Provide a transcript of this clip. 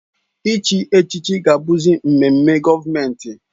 Ị chịzị echịchị ga-abụzị mmemme gọọmentị